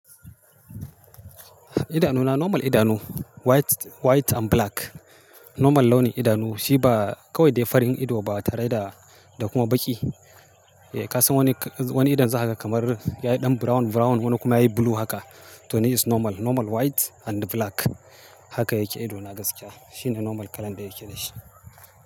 Idanuna normal idanu white, white and black. Normal launin idanu shi ba kawai dai farin ido ba tare da, da kuma baƙi. Eh, ka san wani, wani idon zai haka kamar yayi ɗan brown, brown wani kuma yayi blue haka. To nei is normal, normal white and black. Haka yake idona gaskiya. Shi ne normal kala da yake da shi.